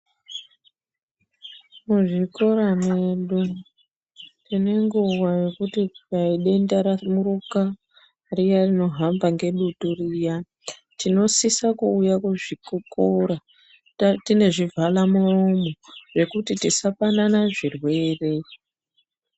Muzvikora mwedu tine nguwa yekuti zvikanzi denda ramiruka riyaaa rinohamba ngedutu riyaa. Tinosisa kuuya kuzvikora tine zvivhala muromo zvekuti tisapanane zvirwere.